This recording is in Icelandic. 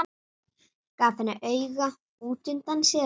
Gaf henni auga útundan sér.